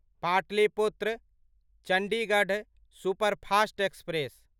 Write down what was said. Pataliputra Chandigarh superfast express